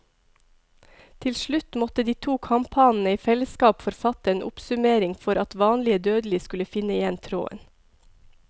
Til slutt måtte de to kamphanene i fellesskap forfatte en oppsummering for at vanlige dødelige skulle finne igjen tråden.